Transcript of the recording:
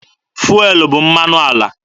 Fụelụ bụ mmanụ ala.